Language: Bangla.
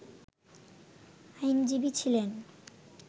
আইনজীবী ছিলেন